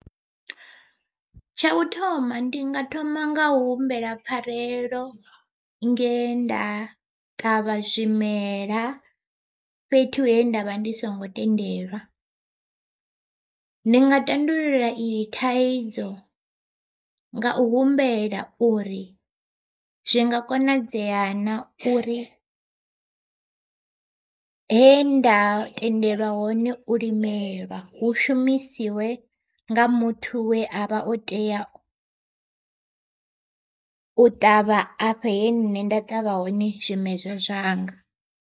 Tsha u thoma ndi nga thoma nga humbela pfarelo nge nda ṱavha zwimela fhethu he ndavha ndi songo tendelwa. Ndi nga tandulula iyi thaidzo, nga u humbela uri zwi nga konadzea na uri henda tendeliwa hone u limela hu shumisiwe nga muthu we a vha o tea u ṱavha afho he nṋe nda ṱavha hone zwimedzwa zwanga.